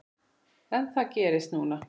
En það gerðist núna.